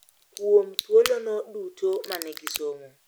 Kuom thuolono duto ma ne gisomo.